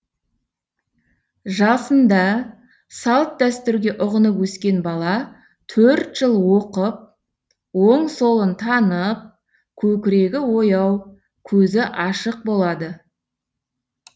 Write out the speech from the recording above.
жасында салт дәстүрге ұғынып өскен бала төрт жыл оқып оң солын танып көкірегі ояу көзі ашық болады